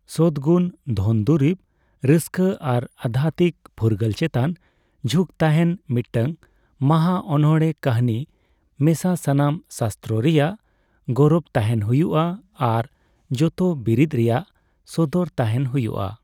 ᱥᱚᱛᱜᱩᱱ, ᱫᱷᱚᱱ ᱫᱩᱨᱤᱵᱽ, ᱨᱟᱹᱥᱠᱟᱹ ᱟᱨ ᱟᱫᱫᱷᱟᱛᱛᱤᱠ ᱯᱷᱩᱨᱜᱟᱹᱞ ᱪᱮᱛᱟᱱ ᱡᱷᱩᱸᱠ ᱛᱟᱦᱮᱸᱱ ᱢᱤᱫᱴᱟᱝ ᱢᱟᱦᱟ ᱚᱱᱚᱬᱦᱮᱸ ᱠᱟᱹᱦᱱᱤ ᱢᱮᱥᱟ ᱥᱟᱱᱟᱢ ᱥᱟᱥᱛᱨᱚ ᱨᱮᱭᱟᱜ ᱜᱚᱨᱚᱵ ᱛᱟᱦᱮᱱ ᱦᱩᱭᱩᱜᱼᱟ ᱟᱨ ᱡᱚᱛᱚ ᱵᱤᱨᱤᱫ ᱨᱮᱭᱟᱜ ᱥᱚᱫᱚᱨ ᱛᱟᱦᱮᱱ ᱦᱩᱭᱩᱜᱼᱟ ᱾